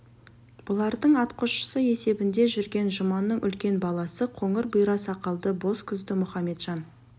бұлардың атқосшысы есебінде жүрген жұманның үлкен баласы қоңыр бұйра сақалды боз көзді мұхаметжан